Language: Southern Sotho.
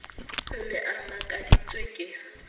o ne a makaditswe ke